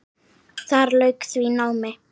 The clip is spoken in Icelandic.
Þar lauk því námi.